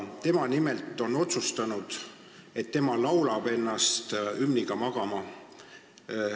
Tema on nimelt otsustanud, et tema laulab ennast hümniga magama.